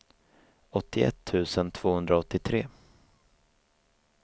åttioett tusen tvåhundraåttiotre